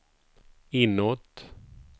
inåt